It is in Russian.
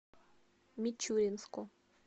мичуринску